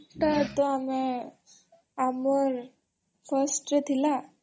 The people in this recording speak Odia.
ଏଟା ତ ଆମେ ଆମର୍ ଅମ୍irstରେ ଥିଲା